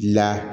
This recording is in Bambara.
La